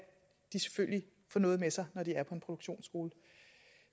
de selvfølgelig får noget med sig når de er på en produktionsskole